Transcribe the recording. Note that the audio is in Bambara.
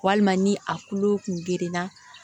Walima ni a kulo kun gerenna